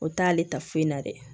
O t'ale ta foyi la dɛ